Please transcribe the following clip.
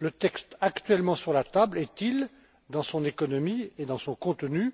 Le texte actuellement sur la table est il, dans son économie et dans son contenu,